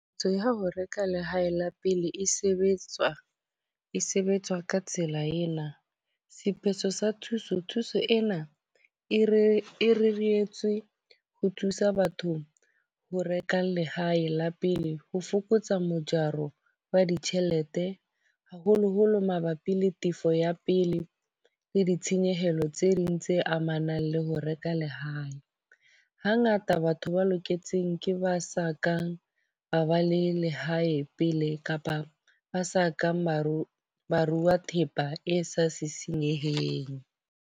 Ntho ya ho reka lehae la pele e sebetswa e sebetswa ka tsela ena. Sephetho sa thuso. Thuso ena e re e reretswe ho thusa bathong ho reka lehae la pele, ho fokotsa mojaro wa ditjhelete. Haholo-holo mabapi le tefo ya pele le ditshenyehelo tse ding tse amanang le ho reka lehae. Ha ngata batho ba loketseng ke ba sa kang ba ba le lehae pele kapa ba sa kang barui, ba rua thepa e sa sisinyeheng.